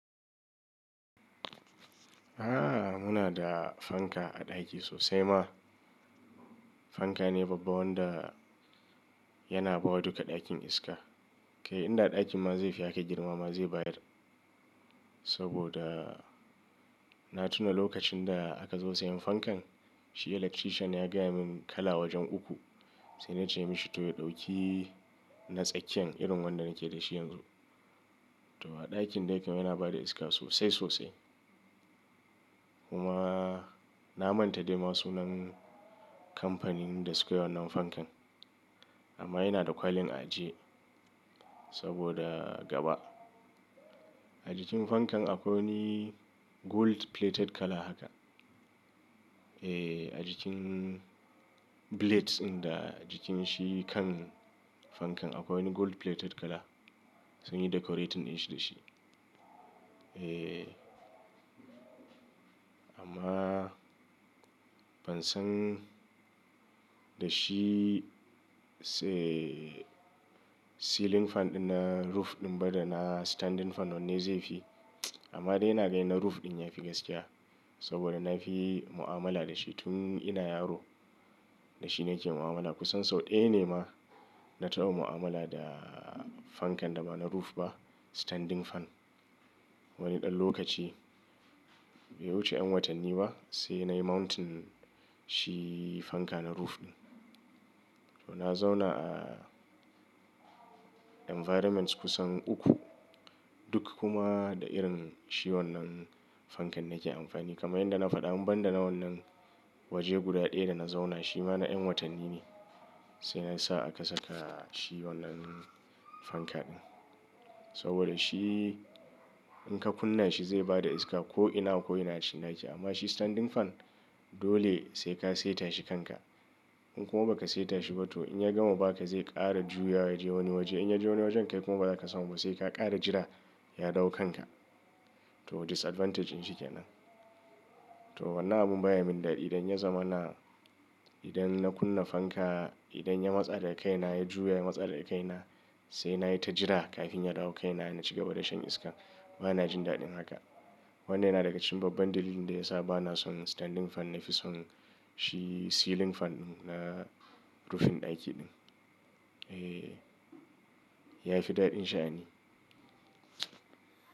Aaa muna da fanka a ɗaki sosai ma. Fanka ne babban wanda yana bawa duka ɗakin iska. Kai inda ɗakin ma zai fi haka girma ma zai bayar. Saboda na tuna lokacin da aka zo sayan fankan, shi electrician ya gaya min kala wajen uku. Sai na ce mashi to ya ɗauki na tsakkiyan irin wanda nake da shi yanzu. To a ɗakin dai kam yana bada iska sosai sosai. Kuma na manta dai ma sunan kamfanin da sukai wannan fankan. Amma yana da kwalin aji saboda gaba. A jikin fankan akwai wani gold plated kala haka. Eh a jikin blades ɗin da jikin shi kan fankan akwai wani gold plated kala. Sun yi decorating dinshi da shi. Eh amma ban san da shi se ceiling fan ɗin na roof ɗin ba da na standing fan wanne zai fi. Amma dai ina ganin na roof ɗin yafi gaskiya. Saboda na fi mu'amala da shi tun ina yaro. Da shi nake mu'amala kusan sau ɗaya ne ma na taɓa mu'amala da fankan da ba na roof ba standing fan. Wani ɗan lokaci bai wuce 'yan watanni ba sai nayi mountain shi fanka na roof ɗin. To na zauna a environments kusan uku duk kuma da irin shi wannan fankan nake amfani. Kamar yadda na faɗa in banda na wannan waje guda ɗaya da na zauna shi ma na 'yan watanni ne. Sai na sa aka saka shi wannan fanka ɗin. Saboda shi in ka kunna shi zai bada iska ko ina ko ina a cikin ɗaki. Amma shi standing fan dole sai ka saita shi kanka. In kuma ba ka saita shi ba to in ya gama ba ka zai ƙara juya yaje wani waje. In ya je wani wajen kai kuma ba za ka samu ba sai ka ƙara jira ya dawo kanka. To disadvantage in shi kenan. To wannan abun baya min daɗi idan ya zamana idan na kunna fanka idan ya matsa daga kai na ya juya ya matsa daga kai na sai nayi ta jira kafin ya dawo kaina na ci gaba da shan iska. Bana jin daɗin haka. Wannan yana daga cikin babban dalilin da yasa bana son standing fan nafi son shi ceiling fan ɗin na roofing ɗaki ɗin. Eh ya fi daɗin sha'ani.